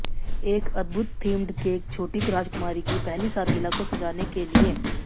एक अद्भुत themed cake छोटी राजकुमारी की पहली सालगिरह को सजाने के लिए